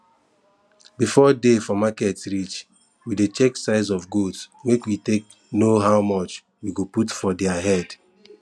before day for market reach we dey check size of goats make we take know how much we go put for diir head